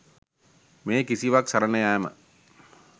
මේ කිසිවක් සරණ යෑම